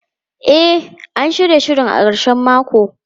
E, an shirya shirin a karshen mako.